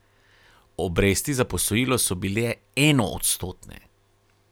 Obresti za posojilo so bile enoodstotne.